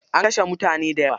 An kashe mutane dayawa?